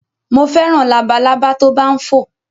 Mo fẹ́ràn labalábá tó bá ń fò.